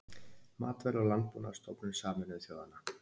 Matvæla- og landbúnaðarstofnun Sameinuðu þjóðanna.